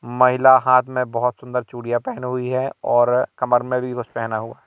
महिला हाथ में बोहोत सुंदर चूड़ियां पेहनी हुई है और कमर में भी कुछ पेहना हुआ--